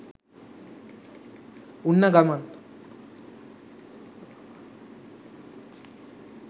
උන්න ගමන්